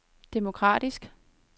demokratisk